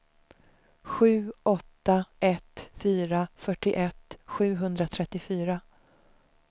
sju åtta ett fyra fyrtioett sjuhundratrettiofyra